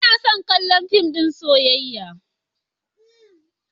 Ba na son kallon fim ɗin soyayya.